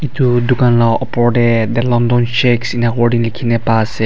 edu dukan la opor tae the london shakes ena Kura na paase.